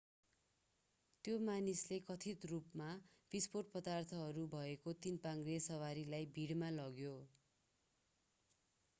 त्यो मानिसले कथित रूपमा विस्फोटक पदार्थहरू भएको तीन-पाङ्ग्रे सवारीलाई भिडमा लग्यो